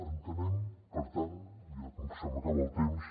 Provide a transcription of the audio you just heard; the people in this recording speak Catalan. entenem per tant ja com que se m’acaba el temps